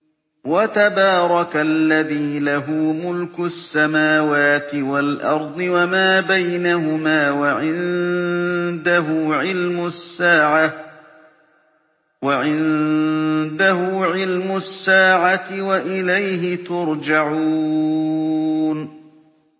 وَتَبَارَكَ الَّذِي لَهُ مُلْكُ السَّمَاوَاتِ وَالْأَرْضِ وَمَا بَيْنَهُمَا وَعِندَهُ عِلْمُ السَّاعَةِ وَإِلَيْهِ تُرْجَعُونَ